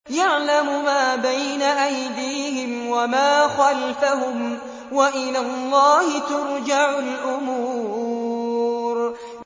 يَعْلَمُ مَا بَيْنَ أَيْدِيهِمْ وَمَا خَلْفَهُمْ ۗ وَإِلَى اللَّهِ تُرْجَعُ الْأُمُورُ